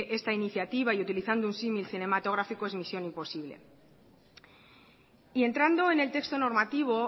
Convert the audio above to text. esta iniciativa y utilizando un símil cinematográfico es misión imposible y entrando en el texto normativo